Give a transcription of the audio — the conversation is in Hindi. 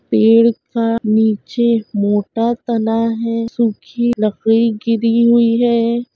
पेड़ का नीचे मोटा तना है सुखी लकड़ी गिरी हुई है।